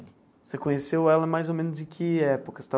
Você conheceu ela mais ou menos em que época?